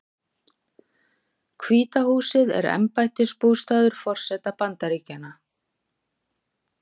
Hvíta húsið er embættisbústaður forseta Bandaríkjanna.